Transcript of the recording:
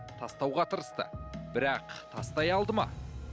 тастауға тырысты бірақ тастай алды ма